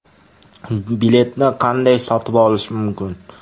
Biletni qanday sotib olish mumkin?